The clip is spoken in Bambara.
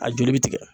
A joli bɛ tigɛ